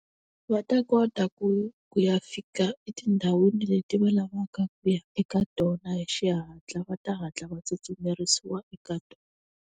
Va ta kota ku ku ya fika etindhawini leti va lavaka ku ya eka tona hi xihatla va ta hatla va tsutsumerisiwa eka .